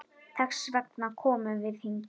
Þess vegna komum við hingað.